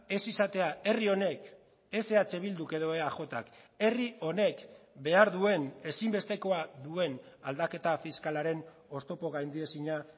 ez izatea herri honek ez eh bilduk edo eajk herri honek behar duen ezinbestekoa duen aldaketa fiskalaren oztopo gaindiezina